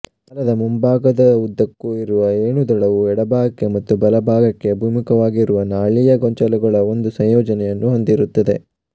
ಜಾಲದ ಮುಂಭಾಗದ ಉ್ದಕ್ಕೂ ಇರುವ ಏಣುದಳವು ಎಡಭಾಗಕ್ಕೆ ಮತ್ತು ಬಲಭಾಗಕ್ಕೆ ಅಭಿಮುಖವಾಗಿರುವ ನಾಳೀಯ ಗೊಂಚಲುಗಳ ಒಂದು ಸಂಯೋಜನೆಯನ್ನು ಹೊಂದಿರುತ್ತದೆ